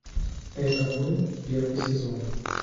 это мы первый сезон